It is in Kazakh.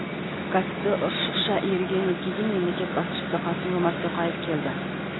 кәсіпті ұршықша иірген өлкеге мемлекет басшысы қасым жомарт тоқаев келді